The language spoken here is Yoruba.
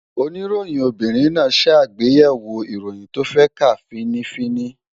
Oníròyìn obìnrin náà ṣàgbéyẹ̀wò ìròyìn tó fẹ́ kà fín-ní-fín-ní